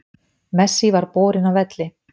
Messi var borinn af velli